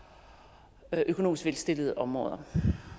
økonomisk velstillede områder